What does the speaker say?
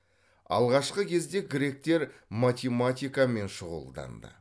алғашқы кезде гректер математикамен шұғылданды